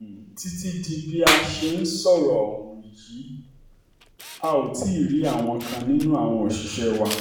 um títí di bá a ṣe ń um sọ̀rọ̀ yìí a ò tí ì rí àwọn kan nínú àwọn òṣìṣẹ́ wa